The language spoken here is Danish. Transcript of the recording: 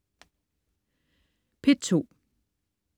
P2: